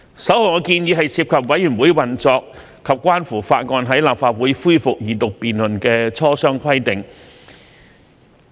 首項建議涉及委員會運作及關乎法案在立法會恢復二讀辯論的磋商規定。